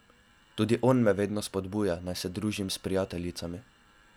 Tudi on me vedno spodbuja, naj se družim s prijateljicami.